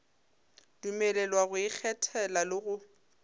dumelelwa go ikgethela le go